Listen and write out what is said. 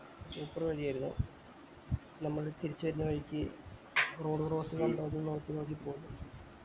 തിരിച്ച് ചെല്ലു ആയിരുന്നു നമ്മൾ തിരിച്ചു ചെല്ലുന്ന വഴിക്ക് road cross ചെന്നുണ്ടോ നോക്കി നോക്കി പോയി